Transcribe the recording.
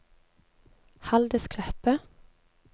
Haldis Kleppe